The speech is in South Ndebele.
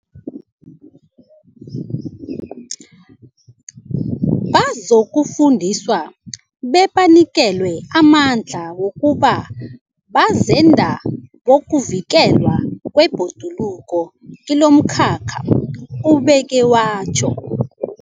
Bazokufundiswa bebanikelwe amandla wokuba bazenda bokuvikelwa kwebhoduluko kilomkhakha, ubeke watjho.